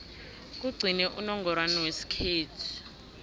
kugcine unongorwana wesikhethu